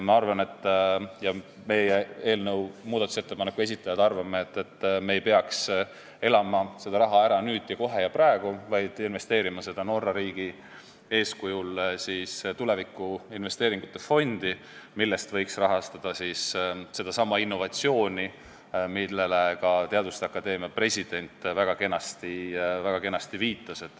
Ma arvan, st meie, muudatusettepaneku esitajad arvame, et me ei peaks kasutama seda raha ära nüüd ja kohe ja praegu, vaid peaksime seda Norra riigi eeskujul investeerima tuleviku investeeringute fondi, millest võiks rahastada sedasama innovatsiooni, millele ka teaduste akadeemia president väga kenasti viitas.